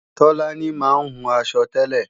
Tọ́lání máa ń hun aṣọ tẹ́lẹ̀